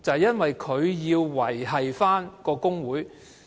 便是他要維繫工會。